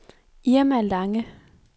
Irma Lange